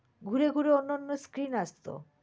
ঘুরে ঘুরে অন্য অন্য screen আসত।